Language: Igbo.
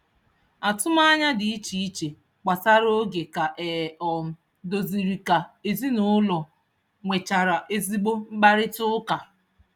Atụmanya dị iche iche gbasara oge ka e um doziri ka ezinụụlọ nwechara ezigbo mkparịtaụka.